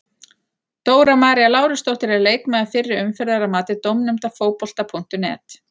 Dóra María Lárusdóttir er leikmaður fyrri umferðar að mati dómnefndar Fótbolta.net.